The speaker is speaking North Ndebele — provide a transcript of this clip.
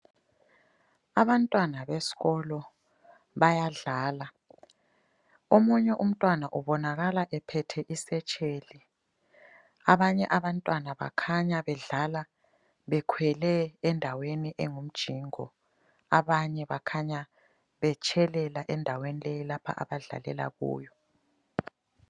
Abantwana besikolo bayadlala. Omunye umntwana ubonakala ephethe isetsheli. Abanye abantwana bakhanya bedlala bekhwele endaweni engumjingo. Abanye bakhanya betshelela endaweni leyi lapha abadlalela kuyo.